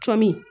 Cɔmi